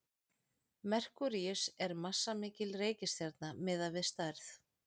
merkúríus er massamikil reikistjarna miðað við stærð